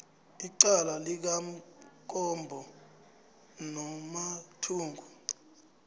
icala likamkombo nomathungu